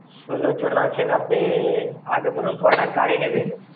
ষোলোজন আছেন, আপনি আগে বলুন কটা গাড়ি নেবেন?